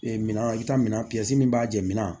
Ee minɛn i bɛ taa minɛn min b'a jeninna